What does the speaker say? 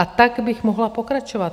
A tak bych mohla pokračovat.